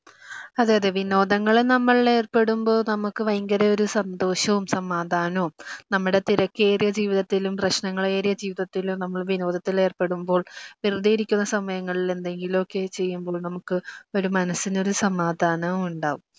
അതെ അതെ വിനോദങ്ങളിൽ നമ്മൾ ഏർപ്പെടുമ്പോൾ നമുക്ക് വയങ്കര സന്തോഷവും സമാദാനവും, നമ്മുടെ തിരക്കേറിയ ജീവിതത്തിലും പ്രശ്നങ്ങളേറിയ ജീവിതത്തിലും നമ്മൾ വിനോദത്തിൽ ഏർപ്പെടുമ്പോൾ വെറുതെ ഇരിക്കുന്ന സമയങ്ങളിൽ എന്ദെങ്കിലുമൊക്കെ ചെയ്യുമ്പോൾ നമുക്ക് ഒരു മനസ്സിനൊരു സമാധാനവും ഉണ്ടാവും